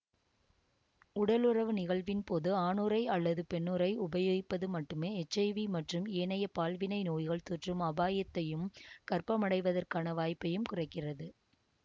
உடலுறவு நிகழ்வின் போது ஆணுறை அல்லது பெண்ணுறை உபயோகிப்பது மட்டுமே எச் ஐ வி மற்றும் ஏனைய பால்வினை நோய்கள் தொற்றும் அபாயத்தையும் கர்ப்பமடைவதற்கான வாய்ப்பையும் குறைக்கிறது